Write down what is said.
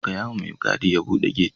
Gayawa mai gadi ya bude gate.